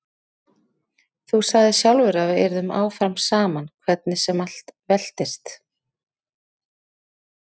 Þú sagðir sjálfur að við yrðum áfram saman hvernig sem allt veltist.